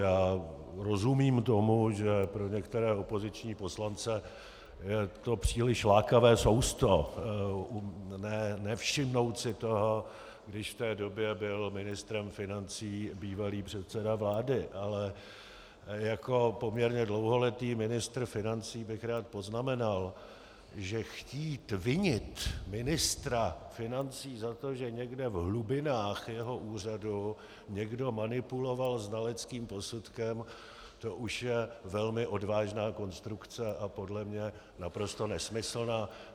Já rozumím tomu, že pro některé opoziční poslance je to příliš lákavé sousto nevšimnout si toho, když v té době byl ministrem financí bývalý předseda vlády, ale jako poměrně dlouholetý ministr financí bych rád poznamenal, že chtít vinit ministra financí za to, že někde v hlubinách jeho úřadu někdo manipuloval znaleckým posudkem, to už je velmi odvážná konstrukce a podle mě naprosto nesmyslná.